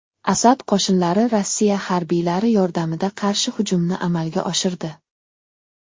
Asad qo‘shinlari Rossiya harbiylari yordamida qarshi hujumni amalga oshirdi.